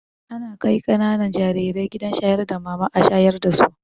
Ana kai ƙananan jarire gidan shayar da mama a shayar dasu